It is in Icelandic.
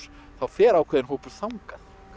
þá fer ákveðinn hópur þangað